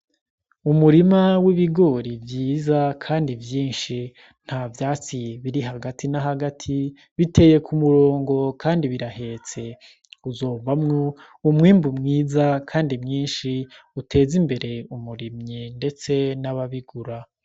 Umurima w'ibigori vyiza kandi vyinshi, nta vyatsi biri hagati nahagati, biteye kumurongo kandi birahetse, uzovamwo umwimbu mwiza kandi mwinshi uteze imbere umurimyi, ndetse nababigura.